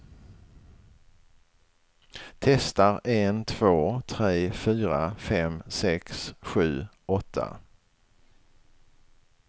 Testar en två tre fyra fem sex sju åtta.